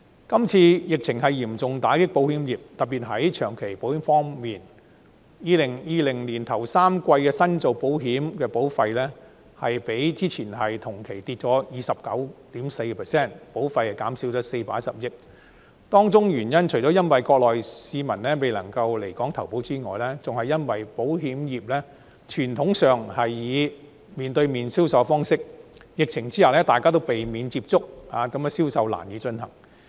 這次疫情嚴重打擊保險業，特別在長期保險方面 ，2020 年首3季新做保險的保費，比之前同期下跌了 29.4%， 保費減少了410億元，當中除了因為國內市民未能來港投保外，更因為保險業傳統上採取面對面的銷售方式；疫情之下大家都避免接觸，令銷售難以進行。